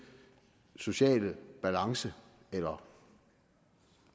sociale balance eller